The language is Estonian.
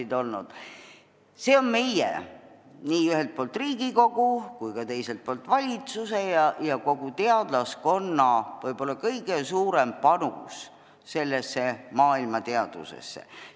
Need teadused on meie, ühelt poolt Riigikogu ja teiselt poolt valitsuse ning kogu teadlaskonna võib-olla kõige suurem panus maailmateadusesse.